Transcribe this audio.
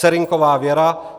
Serynková Věra